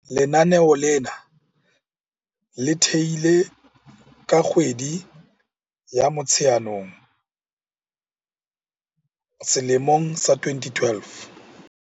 Lenaneo lena le thehilwe ka kgwedi ya Motsheanong selemong sa 2012.